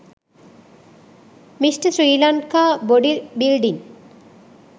mr sri lanka body building